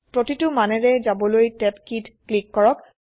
প্ৰতিটো মানেৰে যাবলৈ ট্যাব কিত ক্লিক কৰক